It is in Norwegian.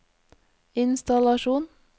innstallasjon